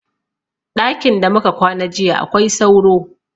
Ɗakin da muka kwana jiya akwai sauro